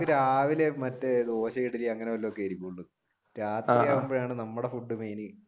രാവിലെ മറ്റേ ദോശയും ഇഡലിയും അങ്ങനെ വല്ലതും ആയിരിക്കൂൾ രാത്രിയാകുമ്പോഴാണ് നമ്മുടെ